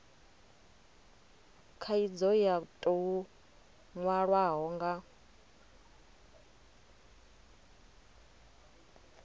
khaidzo yo tou nwalwaho ya